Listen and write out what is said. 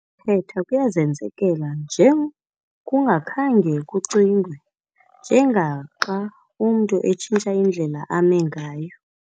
thetha kuyazenzekela nje kungakhange kucingwe, njengaxa umntu entshintsha indlela ame ngayo.